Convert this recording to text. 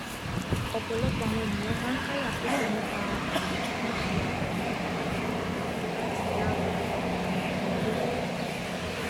ọpọlọpọ àwọn ènìyàn máa n káyà sókè nípa um bíbi àwọn ọrẹ tàbí mọlẹbí láti yá um wọn lówó